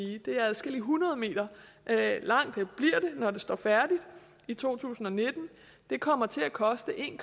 det bliver adskillige hundrede meter langt når det står færdigt i to tusind og nitten det kommer til at koste en